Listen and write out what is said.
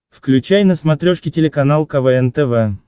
включай на смотрешке телеканал квн тв